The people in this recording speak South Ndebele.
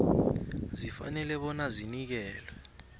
zifanele bona zinikelwe